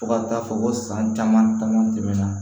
Fo ka taa fɔ ko san caman caman tɛmɛna